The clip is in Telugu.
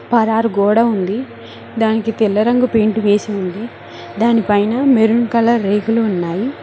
పరారు గోడ ఉంది దానికి తెల్ల రంగు పెయింట్ వేసి ఉంది దానిపైన మెరూన్ కలర్ రేకులు ఉన్నాయి.